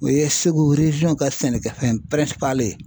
O ye segu ka sɛnɛkɛfɛn ye.